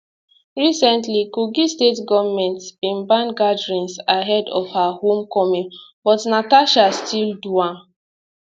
recently kogi state goment bin ban gatherings ahead of her home coming but natasha still do am